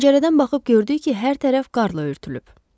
Pəncərədən baxıb gördük ki, hər tərəf qar ilə örtülüb.